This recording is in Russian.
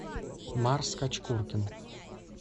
марс кочкуркин